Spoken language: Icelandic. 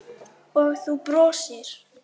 Og þú brosir.